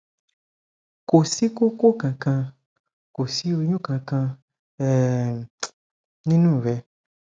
kò sí koko kankan kò sí oyun kankan um nínú rẹ